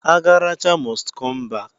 Agaracha most come back.